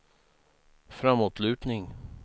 framåtlutning